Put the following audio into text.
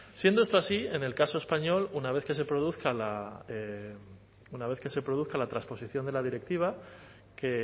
siendo esto así en el caso español una vez que se produzca la una vez que se produzca la trasposición de la directiva que